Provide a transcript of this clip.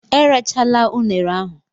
Erachala unere ahụ!